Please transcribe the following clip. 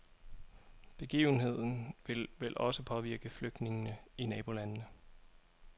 Begivenheden vil vel også påvirke flygtningene i nabolandene.